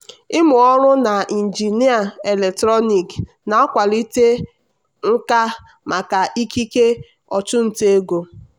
ịmụ ọrụ na injinịa eletrọnịkị na-akwalite nka maka ikike ọchụnta ego.